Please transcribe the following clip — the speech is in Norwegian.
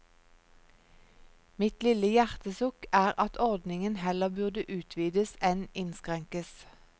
Mitt lille hjertesukk er at ordningen heller burde utvides enn innskrenkes.